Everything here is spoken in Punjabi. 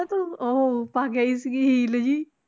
ਤੂੰ ਉਹ ਪਾ ਕੇ ਆਈ ਸੀਗੀ ਹੀਲ ਜਿਹੀ।